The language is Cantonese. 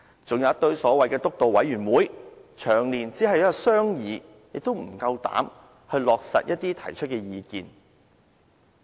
還有一堆所謂的"督導委員會"，長年只有商議，卻無膽去落實一些提出的意見。